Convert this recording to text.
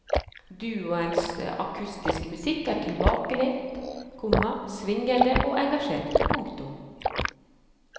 Duoens akustiske musikk er tilbakelent, komma svingende og engasjert. punktum